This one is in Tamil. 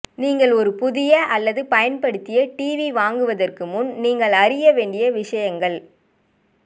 நீங்கள் ஒரு புதிய அல்லது பயன்படுத்திய ஏடிவி வாங்குவதற்கு முன் நீங்கள் அறிய வேண்டிய விஷயங்கள்